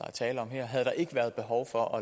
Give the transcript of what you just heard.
er tale om havde der ikke været behov for